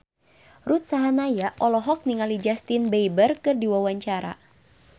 Ruth Sahanaya olohok ningali Justin Beiber keur diwawancara